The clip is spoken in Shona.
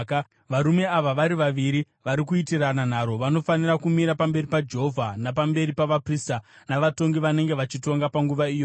varume ava vari vaviri vari kuitirana nharo vanofanira kumira pamberi paJehovha napamberi pavaprista navatongi vanenge vachitonga panguva iyoyo.